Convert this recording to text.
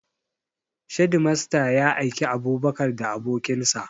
Shedimasta ya aiki Abubakar da abokin sa